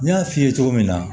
N y'a f'i ye cogo min na